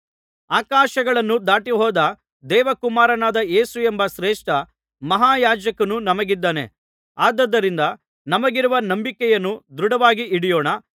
ಆಕಾಶಗಳನ್ನು ದಾಟಿಹೋದ ದೇವಕುಮಾರನಾದ ಯೇಸುವೆಂಬ ಶ್ರೇಷ್ಠ ಮಹಾಯಾಜಕನು ನಮಗಿದ್ದಾನೆ ಆದುದರಿಂದ ನಮಗಿರುವ ನಂಬಿಕೆಯನ್ನು ದೃಢವಾಗಿ ಹಿಡಿಯೋಣ